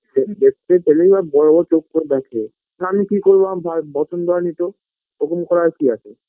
দেখ দেখতে পেলেই ও বড়ো বড়ো চোখ করে দেখে না আমি কি করবো পছন্দ হয়েনি তো ওইরকম করার কি আছে